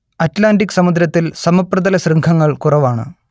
Atlantic സമുദ്രത്തിൽ സമപ്രതലശൃംഖങ്ങൾ കുറവാണ്